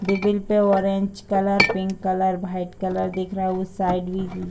डिविल पे orange colour pink colour white colour दिख रहा है उस साइड भी --